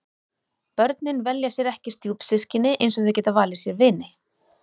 Börnin velja sér ekki stjúpsystkini eins og þau geta valið sér vini.